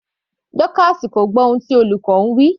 Dorcas kò gbọ́ ohun tí olùkọ́ ń wí.